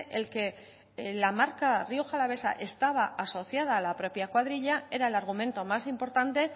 el que la marca rioja alavesa estaba asociada a la propia cuadrilla era el argumento más importante